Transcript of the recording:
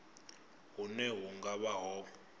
hune hu nga vha ho